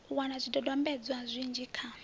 u wana zwidodombedzwa zwinzhi kha